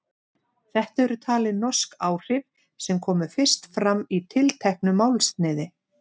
Þetta eru talin norsk áhrif sem komu fyrst fram í tilteknu málsniði.